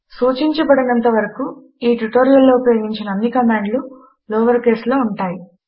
సూచించబడనంత వరకు ఈ ట్యుటోరియల్లో ఉపయోగించిన అన్నీ కమాండ్లు లోవర్ కేస్ లో ఉంటాయి